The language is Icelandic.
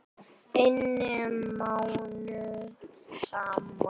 inni mánuðum saman.